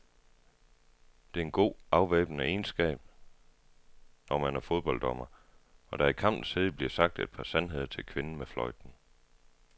Det er en god, afvæbnende egenskab, når man er fodbolddommer, og der i kampens hede bliver sagt et par sandheder til kvinden med fløjten.